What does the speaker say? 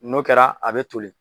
N'o kɛra a be toli